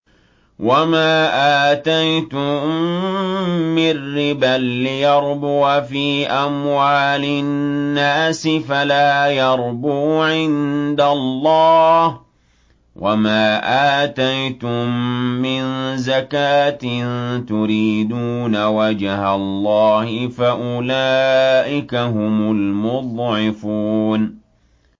وَمَا آتَيْتُم مِّن رِّبًا لِّيَرْبُوَ فِي أَمْوَالِ النَّاسِ فَلَا يَرْبُو عِندَ اللَّهِ ۖ وَمَا آتَيْتُم مِّن زَكَاةٍ تُرِيدُونَ وَجْهَ اللَّهِ فَأُولَٰئِكَ هُمُ الْمُضْعِفُونَ